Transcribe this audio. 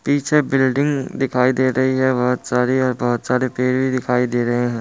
पीछे बिल्डिंग दिखाई दे रही है बहोत सारी और बोहुत सारे पेड़ भी दिखाई दे रहे है।